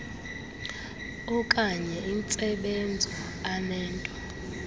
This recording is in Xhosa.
opkanye intsebenzo anento